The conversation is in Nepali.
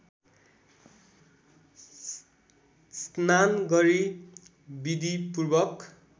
स्नान गरी विधिपूर्वक